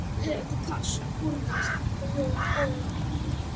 Herra Takashi horfði stíft á Jón Ólaf.